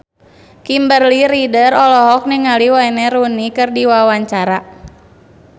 Kimberly Ryder olohok ningali Wayne Rooney keur diwawancara